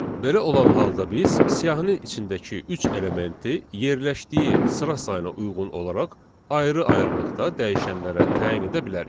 Belə olan halda biz siyahının içindəki üç elementi yerləşdiyi sıra sayına uyğun olaraq ayrı-ayrılıqda dəyişənlərə təyin edə bilərik.